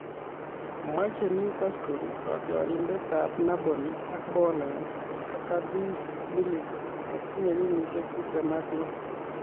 Machei Newcastle kotiorindetab Napoli ak Poland ,Arkadiusz Milik netinye kenyisiek tiptem ak lo